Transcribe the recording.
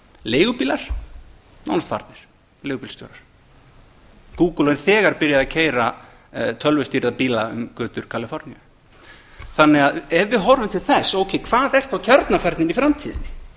leigubílar nánast farnir leigubílstjórar google er þegar byrjað að keyra tölvustýrða bíla um götur kaliforníu ef við horfum til þess ókei hvað er þá kjarnafærnin í framtíðinni